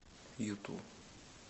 юту